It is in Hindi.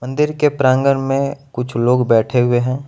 मंदिर के प्रांगण में कुछ लोग बैठे हुए हैं।